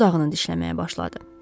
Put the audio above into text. Dodağını dişləməyə başladı.